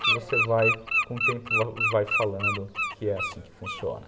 Que você vai, com o tempo, vai vai falando que é assim que funciona.